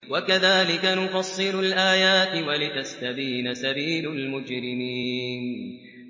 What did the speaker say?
وَكَذَٰلِكَ نُفَصِّلُ الْآيَاتِ وَلِتَسْتَبِينَ سَبِيلُ الْمُجْرِمِينَ